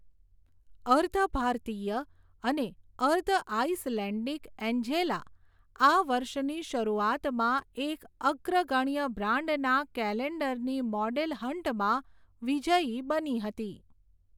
અર્ધ ભારતીય અને અર્ધ આઇસલેન્ડિક એન્જેલા, આ વર્ષની શરૂઆતમાં એક અગ્રગણ્ય બ્રાન્ડના કેલેન્ડરની મોડેલ હન્ટમાં વિજ્યી બની હતી.